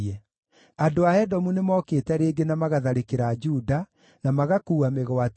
Andũ a Edomu nĩmookĩte rĩngĩ na magatharĩkĩra Juda, na magakuua mĩgwate,